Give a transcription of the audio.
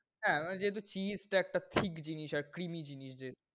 হ্যাঁ, আমার যেহেতু cheese টা একটা ঠিক জিনিস আর creamy জিনিস যে